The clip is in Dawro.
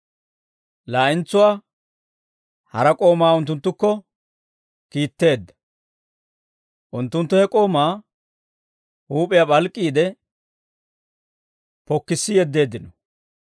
Laa'entsuwaa hara k'oomaa unttunttukko kiitteedda; unttunttu he k'oomaa huup'iyaa p'alk'k'iide pokkissi yeddeeddino.